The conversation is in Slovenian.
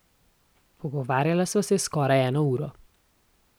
Pogovarjala sva se skoraj eno uro.